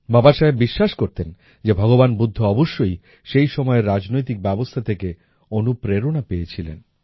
বাবাসাহেব বিশ্বাস করতেন যে ভগবান বুদ্ধ অবশ্যই সেই সময়ের রাজনৈতিক ব্যবস্থা থেকে অনুপ্রেরণা পেয়েছিলেন